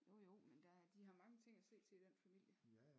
Jo jo men der er de har mange ting at se til i den familie